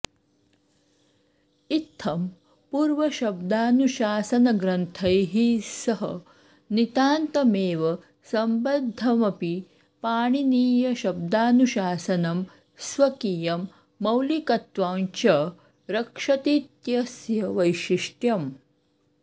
इत्थं पूर्वशब्दानुशासनग्रन्थैः सह नितान्तमेव सम्बद्धमपि पाणिनीयशब्दानुशासनं स्वकीयं मौलिकत्वं च रक्षतीत्यस्य वैशिष्ट्यम्